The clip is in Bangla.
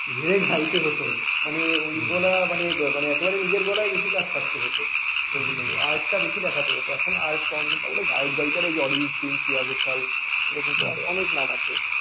ঝেড়ে গাইতে হতো মানে ওই গলা মানে মানে একেবারে নিজের গলায় বেশি কাজ থাকতে হতো ঐজন্য art বেশি দেখাতে হত এখন আর্ট art কম দেখালে এখনকার গায়কগায়িকারা এই অরিজিত সিং শ্রেয়া ঘোষাল এরকম অনেক নাম আছে